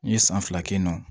N ye san fila kɛ yen nɔ